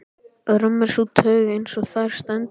Römm er sú taug, eins og þar stendur